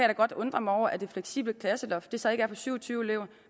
da godt undre mig over at det fleksible klasseloft så ikke er på syv og tyve elever